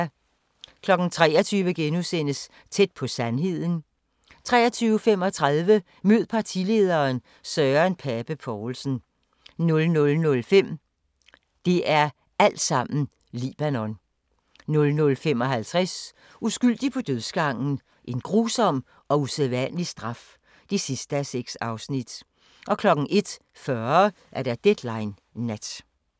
23:00: Tæt på sandheden * 23:35: Mød partilederen: Søren Pape Poulsen 00:05: Det er altsammen Libanon 00:55: Uskyldig på dødsgangen: En grusom og usædvanlig straf (6:6) 01:40: Deadline Nat